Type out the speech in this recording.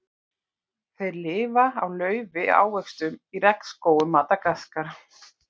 Þeir lifa á laufi og ávöxtum í regnskógum Madagaskar.